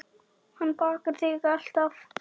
Hann bakar þig alltaf.